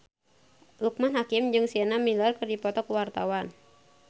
Loekman Hakim jeung Sienna Miller keur dipoto ku wartawan